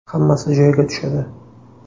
Hammasi joyiga tushadi.